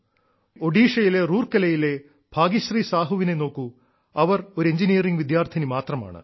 ഒഡീഷയിലെ റൂർക്കലയിലെ ഭാഗ്യശ്രീ സാഹുവിനെ നോക്കൂ അവർ ഒരു എഞ്ചിനീയറിംഗ് വിദ്യാർത്ഥിനി മാത്രമാണ്